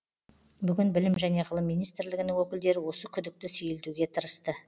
бүгін білім және ғылым министрлігінің өкілдері осы күдікті сейілтуге тырысты